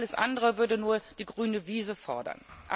Alles andere würde nur die grüne Wiese fördern.